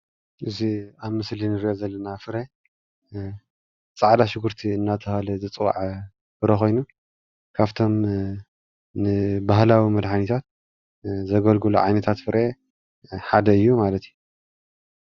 እዚ አብ ምስሊ እንሪኦ ዘለና ፍረ ፃዕዳ ሽጉርቲ እናተባህለ ዝፀዋዕ ፍረ ኮይኑ ካብቶም ን ባህላዊ መድሓኒታት ዘገልግሉ ዓይነታት ፍረ ሓደ እዩ ማለት እዩ፡፡